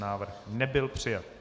Návrh nebyl přijat.